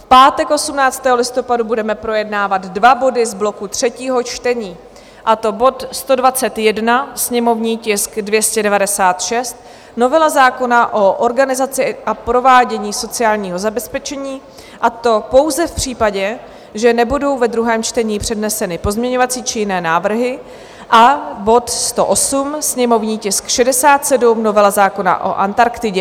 V pátek 18. listopadu budeme projednávat dva body z bloku třetího čtení, a to bod 121, sněmovní tisk 296, novela zákona o organizaci a provádění sociálního zabezpečení, a to pouze v případě, že nebudou ve druhém čtení předneseny pozměňovací či jiné návrhy, a bod 108, sněmovní tisk 67, novela zákona o Antarktidě.